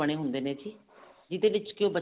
ਬਣੇ ਹੁੰਦੇ ਨੇ ਜੀ ਜਿਹਦੇ ਵਿੱਚ